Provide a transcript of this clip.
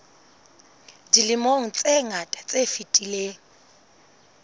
dilemong tse ngata tse fetileng